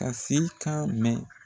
Ka se kan mɛn.